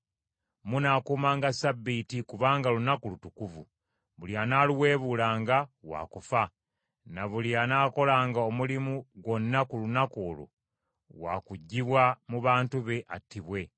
“ ‘Munaakuumanga Ssabbiiti, kubanga lunaku lutukuvu. Buli anaaluweebuulanga waakufa; ne buli anaakolanga omulimu gwonna ku lunaku olwo waakuggibwa mu bantu be, attibwe.